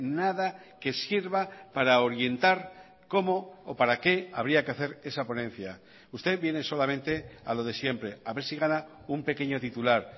nada que sirva para orientar cómo o para qué habría que hacer esa ponencia usted viene solamente a lo de siempre a ver si gana un pequeño titular